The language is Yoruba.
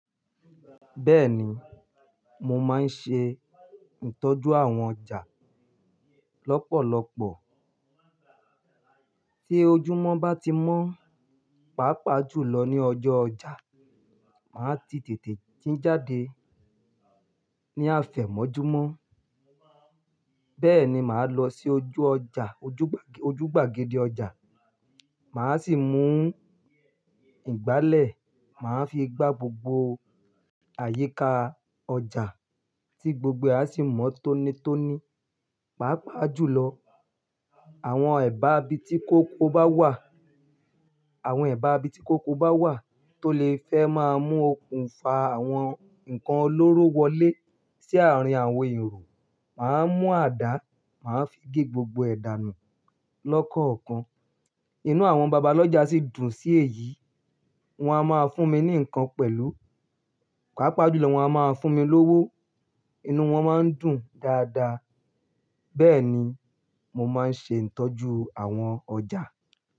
Bẹ́ẹ̀ni, mo máa ń ṣe ìtọ́jú àwọn ọjà lọ́pọ̀lọpọ̀. Tí ojúmọ́ bá ti mọ́, pàápàá jùlọ ní ọjọ́ ọjà, máa ti tètè jí jáde ní ààfemọ́júmọ́. Bẹ́ẹ̀ni, máa lọ sí ojú ọjà, ojú gbàgede ọjà, máa sì mu ìgbálẹ̀ máa fi gba gbogbo àyíká ọjà tí gbogbo ẹ̀ a sì mọ́ tónìtọ́nì Pàápàá jùlọ, àwọn e bá ibi tí koríko bá wà Àwọn e bá ibi tí koríko bá wà tó lè fẹ́ máa mu òkun fá àwọn nǹkan olóró wọlé sí àárín àwọn èrò, máa mu àdá máa fi gé gbogbo ẹ̀ dànù lọ́ọ̀kankan. Inú àwọn babalọ́jà sì dùn sí èyí, wọ́n a máa fún mi ní nǹkan pẹ̀lú. Pàápàá jùlọ wọ́n a máa fún mi lówó, inú wọn máa ń dùn dáadáa. Bẹ́ẹ̀ni, mo máa ń ṣe ìtọ́jú àwọn ọjà.